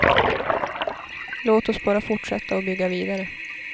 Låt oss bara fortsätta och bygga vidare.